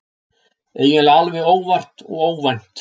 Eiginlega alveg óvart og óvænt.